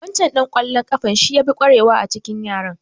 Waccan ɗan ƙwallon ƙafan shi ya fi ƙwarewa a tsakanin yaran.